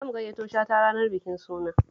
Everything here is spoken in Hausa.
Za mu gayyato Shata ranar bikin sunan